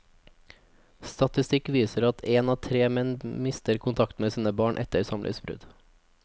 Statistikk viser at en av tre menn mister kontakten med sine barn etter samlivsbrudd.